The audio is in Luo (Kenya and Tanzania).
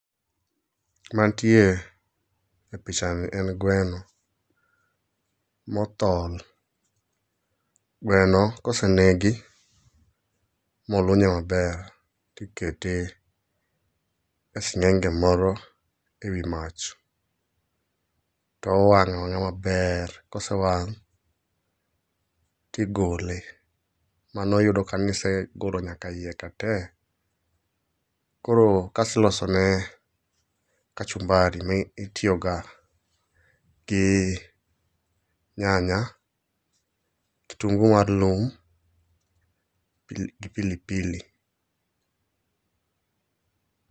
Mantie e pichani en gweno mothol. Gweno kosenegi molunye maber tikete e sng'enge moro e wi mach towang' awanga' maber, kosewang' tigole. Mano yudo kanisegolo nyaka iye ka tee, koro kas ilosone kachumbari mitiyoga gi nyanya, kitungu mar lum gi pilipili.